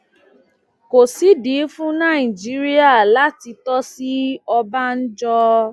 kò sídìí fún nàìjíríà láti tòṣì ọbànjọ